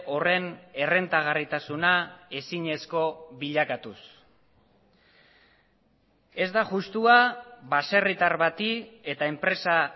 horren errentagarritasuna ezinezko bilakatuz ez da justua baserritar bati eta enpresa